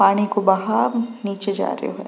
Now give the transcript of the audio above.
पानी को बहाव निचे जा रेहो है।